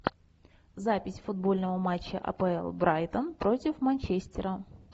запись футбольного матча апл брайтон против манчестера